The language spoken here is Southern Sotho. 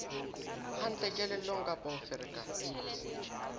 hantle kelellong kapa o ferekane